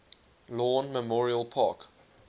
lawn memorial park